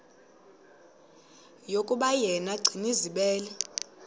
yokuba yena gcinizibele